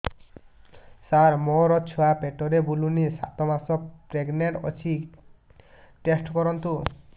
ସାର ମୋର ଛୁଆ ପେଟରେ ବୁଲୁନି ସାତ ମାସ ପ୍ରେଗନାଂଟ ଅଛି ଟେଷ୍ଟ କରନ୍ତୁ